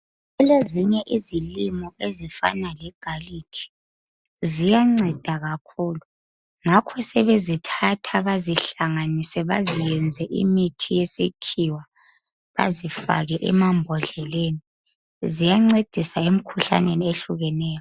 Kulezinye izilimo ezifana legarlic ziyanceda kakhulu ngakho sebezithatha bazihlanganise baziyenze imithi yesikhiwa bazifake emambodleleni ziyancedisa emikhuhlaneni ehlukeneyo.